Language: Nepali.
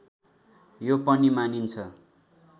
यो पनि मानिन्छ